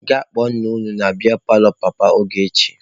Gaa kpọọ nna unu na biya paalọ papa Ogechi!